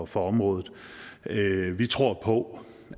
for området vi tror på